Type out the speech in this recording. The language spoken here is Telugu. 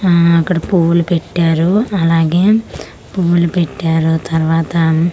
ఆ అక్కడ పూలు పెట్టారు అలాగే పూలు పెట్టారు తరవాత --